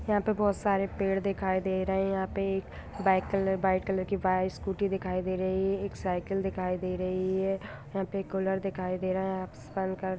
यहां पे बहुत सारे पेड़ दिखाई दे रहे हैं यहां पे एक व्हाइट कलर वाइट कलर की वहां स्कूटी दिखाई दे रही है एक साइकिल दिखाई दे रही है यहां पे एक कूलर दिखाई दे रहा है आसमान का --